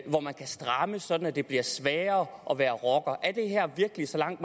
kan strammes sådan at det bliver sværere at være rocker er det her virkelig så langt